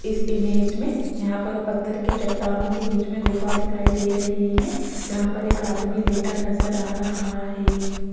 इस इमेज में यहां पर पत्थर की चट्टानों के बीच में गुफा दिखाई दे रही है जहां पर एक आदमी लेटा नजर आ रहा है।